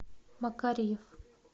макарьев